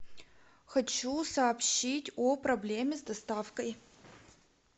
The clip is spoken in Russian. хочу сообщить о проблеме с доставкой